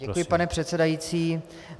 Děkuji, pane předsedající.